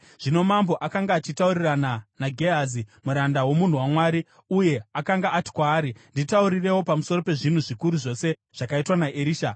Zvino mambo akanga achitaurirana naGehazi, muranda womunhu waMwari, uye akanga ati kwaari, “Nditaurirewo pamusoro pezvinhu zvikuru zvose zvakaitwa naErisha.”